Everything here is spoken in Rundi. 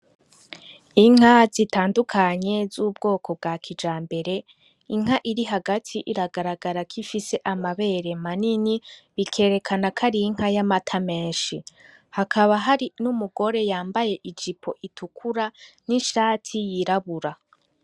Inka zitandukanye z'ubwoko bwa kijambere, Inka iri hagati iragaragara ko ifise amabere manini bikerekana ko arinka y'amata meshi hakaba hari n'umugore yambaye ijipo itikura n'ishati y'irabura.